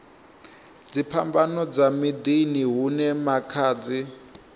dziphambano dza miḓini hune makhadzi